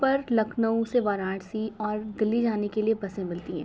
Perk Lucknow से वाराणसी और दिल्ली जाने के लिए बसे मिलती हैं।